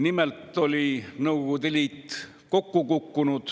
Nimelt oli Nõukogude Liit kokku kukkunud